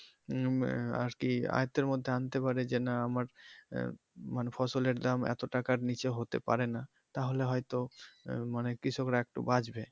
উম আরকি আয়ত্তের মধ্যে আনতে পারে যে না আমার আহ মানে ফসলের দাম এতো টাকার নিচে হতে পারে না তাহলে হয়তো আহ মানে কৃষকরা একটু বাচবে।